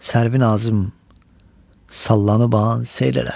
Sərvinazım sallanıban seyr elə.